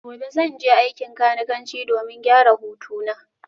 Gobe ​​zan je aikin kanikanci domin gyara hutuna